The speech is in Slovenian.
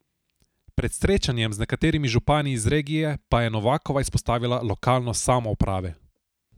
Pred srečanjem z nekaterimi župani iz regije pa je Novakova izpostavila lokalnost samouprave.